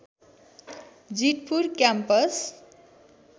Jeetpur campus